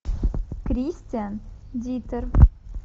кристиан диттер